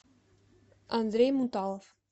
андрей муталов